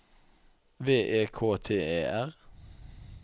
V E K T E R